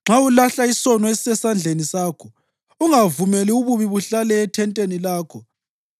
nxa ulahla isono esisesandleni sakho ungavumeli bubi buhlale ethenteni lakho,